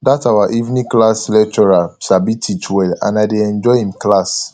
dat our evening class lecturer sabi teach well and i dey enjoy im class